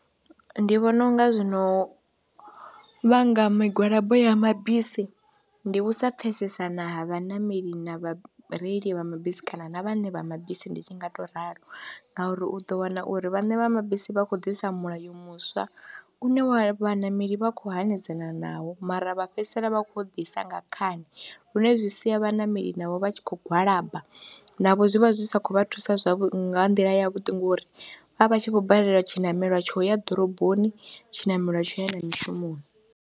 Ndi vhona u nga zwino vhanga migwalabo ya mabisi ndi u sa pfhesesana ha vhaṋameli na vhareili vha mabisi kana na vhaṋe vha mabisi ndi tshi nga tou ralo ngauri u ḓo wana uri vhaṋe vha mabisi vha khou ḓisa mulayo muswa une vhaṋameli vha khou hanedzana nawo mara vha fhedzisela vha khou ḓisa nga khani, lune zwi sia vhaṋameli navho vha tshi khou gwalaba, navho zwi vha zwi sa khou vha thusa nga nḓila yavhuḓi ngori vha vha tshi vho balelwa tshiṋamelo tsho ya ḓoroboni, tshiṋamelo tsho ya na mishumoni.